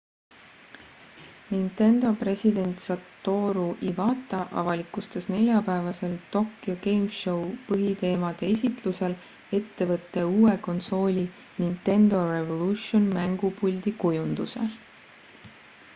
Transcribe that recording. nintendo president satoru iwata avalikustas neljapäevasel tokyo game show põhiteemade esitlusel ettevõtte uue konsooli nintendo revolution mängupuldi kujunduse